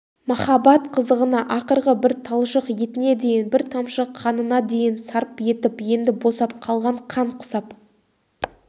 махаббат қызығына ақырғы бір талшық етіне дейін бір тамшы қанына дейін сарп етіп енді босап қалған қан құсап